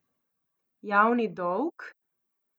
Javni dolg?